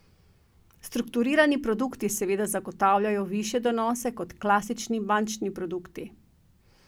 Strukturirani produkti seveda zagotavljajo višje donose kot klasični bančni produkti.